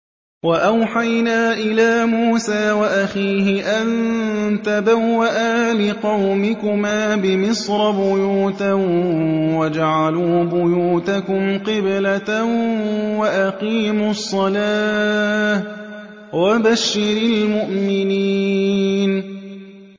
وَأَوْحَيْنَا إِلَىٰ مُوسَىٰ وَأَخِيهِ أَن تَبَوَّآ لِقَوْمِكُمَا بِمِصْرَ بُيُوتًا وَاجْعَلُوا بُيُوتَكُمْ قِبْلَةً وَأَقِيمُوا الصَّلَاةَ ۗ وَبَشِّرِ الْمُؤْمِنِينَ